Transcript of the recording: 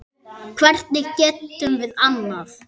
Hvernig getum við annað?